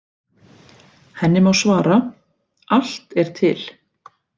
Henni má svara: Allt er til.